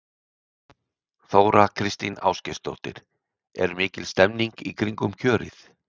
Þóra Kristín Ásgeirsdóttir: Er mikil stemning í kringum kjörið?